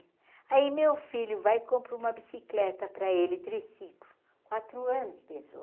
Aí meu filho vai e compra uma bicicleta para ele triciclo, quatro anos, pensou.